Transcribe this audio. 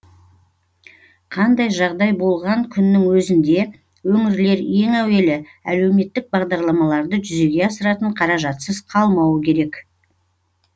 қандай жағдай болған күннің өзінде өңірлер ең әуелі әлеуметтік бағдарламаларды жүзеге асыратын қаражатсыз қалмауы керек